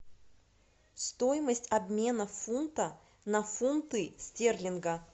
стоимость обмена фунта на фунты стерлинга